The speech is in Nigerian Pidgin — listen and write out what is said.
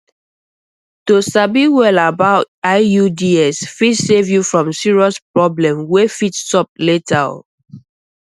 to sabi well about iuds fit save you from serious problems wey fit sup later o